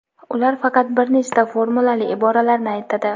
ular faqat bir nechta formulali iboralarni aytadi.